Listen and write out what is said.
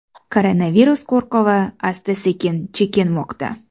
Koronavirus qo‘rquvi asta-sekin chekinmoqda.